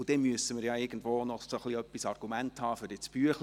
Dann müssen wir ja irgendwie auch Argumente haben für das Abstimmungsbüchlein.